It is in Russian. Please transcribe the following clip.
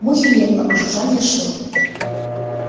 мухи не было а жужжание шло